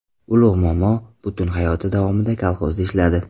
Ulug‘ momo butun hayoti davomida kolxozda ishladi.